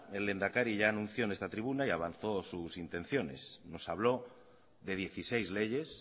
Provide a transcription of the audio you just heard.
el lehendakari ya anunció en esta tribuna y avanzó sus intenciones nos habló de dieciséis leyes